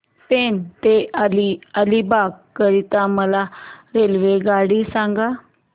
पेण ते अलिबाग करीता मला रेल्वेगाडी सांगा